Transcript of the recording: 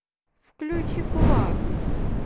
включи кулак